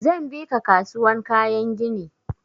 Zan bi ka kasuwan kayan gini.